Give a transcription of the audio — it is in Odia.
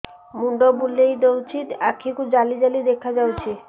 ମୁଣ୍ଡ ବୁଲେଇ ଦେଉଛି ଆଖି କୁ ଜାଲି ଜାଲି ଦେଖା ଯାଉଛି